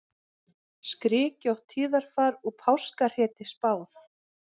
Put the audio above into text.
Skrykkjótt tíðarfar og páskahreti spáð